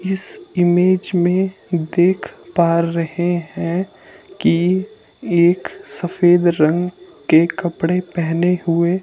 इस इमेज में देख पा रहे हैं कि एक सफेद रंग के कपड़े पहने हुए--